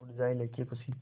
उड़ जाएं लेके ख़ुशी